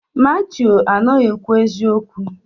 Matiu anaghị ekwu eziokwu.